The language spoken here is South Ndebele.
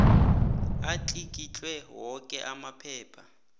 atlikitle woke amaphepha